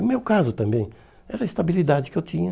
No meu caso também, era a estabilidade que eu tinha.